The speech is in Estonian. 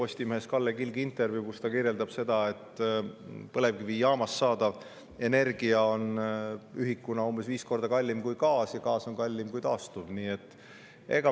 Ta seal, et põlevkivijaamast saadava energia ühiku on umbes viis korda kallim kui gaasi puhul ja gaas on kallim kui taastuv.